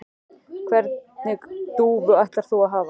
Hvernig dúfu ætlar þú að hafa?